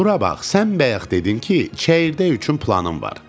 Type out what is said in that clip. Bura bax, sən bayaq dedin ki, çəyirdək üçün planın var.